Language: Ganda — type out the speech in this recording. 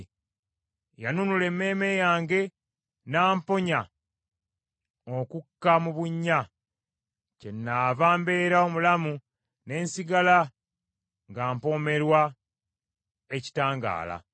Yanunula emmeeme yange n’amponya okukka mu bunnya; kyenaava mbeera omulamu ne nsigala nga mpoomerwa ekitangaala.